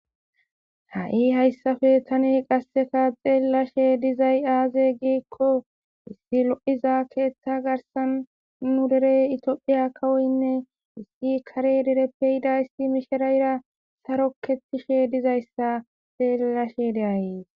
Ha7i hayssape thani qassika xeellashee dizay aazee giikko issi lo7iza keeththaa garssan nu dere ethoophphiya kawoynne issi kare dereppe yida issi mishireera sarokeththishe dizayssa tha xeellashee de7ays.